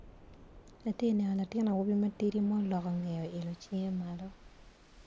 Atye neno latin awobi matidi ma oloko nge oilo cinge malo.